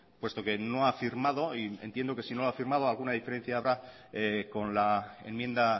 puesto que no ha firmado y entiendo que si no la ha firmado alguna diferencia habrá con la enmienda